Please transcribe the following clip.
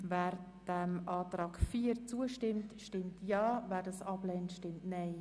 Wer den Antrag annimmt, stimmt Ja, wer diesen ablehnt, stimmt Nein.